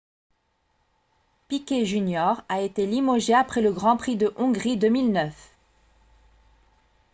piquet jr a été limogé après le grand prix de hongrie 2009